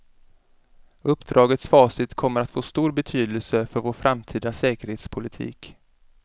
Uppdragets facit kommer att få stor betydelse för vår framtida säkerhetspolitik.